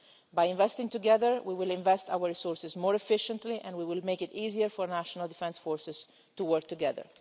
By investing together, we will invest our resources more efficiently and we will make it easier for national defence forces to work together.